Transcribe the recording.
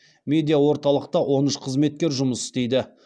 медиа орталықта он үш қызметкер жұмыс істейді